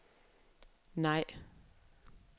nej